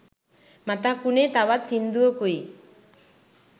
මතක් වුනේ තවත් සිංදුවකුයි